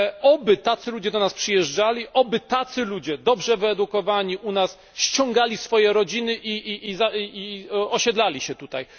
Oby tacy ludzie do nas przyjeżdżali, oby tacy ludzie dobrze wyedukowani do nas ściągali swoje rodziny i osiedlali się tutaj.